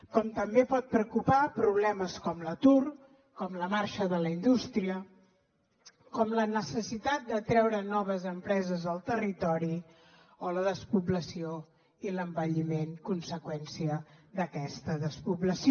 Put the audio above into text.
com també poden preocupar problemes com l’atur com la marxa de la indústria com la necessitat de treure noves empreses al territori o la despoblació i l’envelliment a conseqüència d’aquesta despoblació